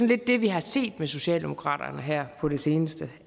lidt det vi har set med socialdemokratiet her på det seneste